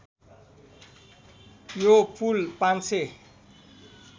यो पुल ५००